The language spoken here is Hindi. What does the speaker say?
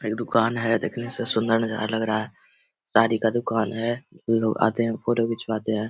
एक दुकान है देखने से सुन्दर नजारा लग रहा है साड़ी का दुकान है लोग आते है फोटो घिचबाते है।